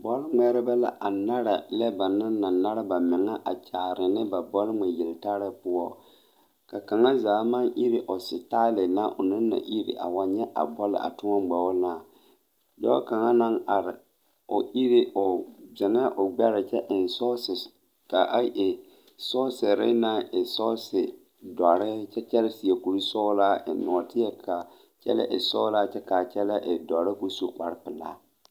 Bɔl ŋmɛɛre la a nare lɛ ba naŋ na nare bameŋa a kyaane nee na ba bɔl ŋmɛ yeli tare poɔ ka kaŋa zaa maŋ iri o setare zaa a iri dɔɔ kaŋa naŋ are eŋ soɔsere doɔre kyɛ kyɛre seɛ kuri sɔglaa kyɛ eŋ nɔɔteɛ kaa kyɛle eŋ doɔre.